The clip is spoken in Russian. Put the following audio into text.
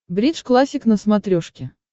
бридж классик на смотрешке